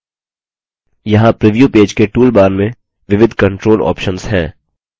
यहाँ preview page के tool bar में विविध control options हैं